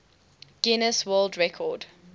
guinness world record